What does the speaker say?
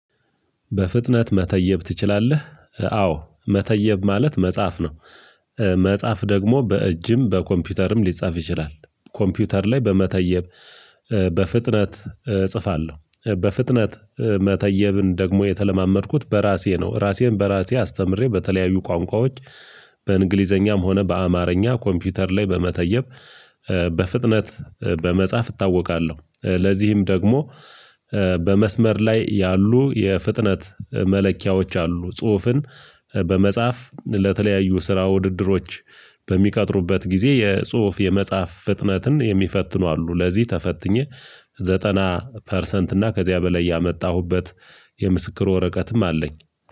በፍጥነት መተየብ ትችላለህ አዎ መተየብ ማለት መጻፍ ነው። መጻፍ ደግሞ በእጅም በኮምፒውተርም ሊጻፍ ይችላል። ኮምፒውተር ላይ በመተየብ በፍጥነት እጽፋለሁ። በፍጥነት መተየብን ደግሞ የተለማመድኩት በራሴ ነው። ራሴን በራሴ አስተምሬ በተለያዩ ቋንቋዎች። በእንግሊዘኛም ሆነ በአማርኛ ኮምፒውተር ላይ በመተየብ በፍጥነት በመጻፍ እታወቃለሁ። ለዚህም ደግሞ በመስመር ላይ ያሉ የፍጥነት መለኪያዎች አሉ። ጽሁፍን በመጽሐፍ ለተለያዩ ስራ ውድድሮች በሚቀጥሩበት ጊዜ የጽሁፍ የመጽሐፍ ፍጥነትን የሚፈትኑ አሉ። ለዚህ ተፈትኜ ዘጠና ፐርሰንት እና ከዚያ በላይ ያመጣሁበት የምስክር ወረቀትም አለኝ።